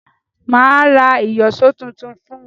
Mà á ra ìyọ̀ṣọ́ tuntun fún un.